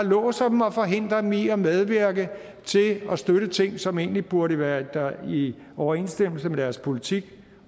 låser dem og forhindrer dem i at medvirke til at støtte ting som egentlig burde være i overensstemmelse med deres politik